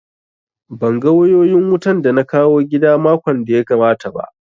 Ban ga wayoyin wutan da na kawo gida makon da ya gabata ba